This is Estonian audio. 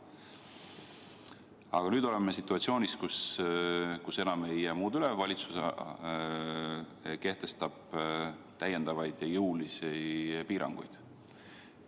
Aga nüüd oleme situatsioonis, kus enam ei jää muud üle, valitsus kehtestab täiendavaid ja jõulisi piiranguid.